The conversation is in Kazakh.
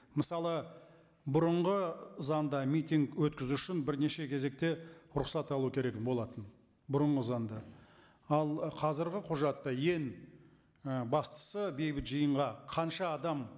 мысалы бұрынғы заңда митинг өткізу үшін бірнеше кезекте рұқсат алу керек болатын бұрынғы заңда ал ы қазіргі құжатта ең ы бастысы бейбіт жиынға қанша адам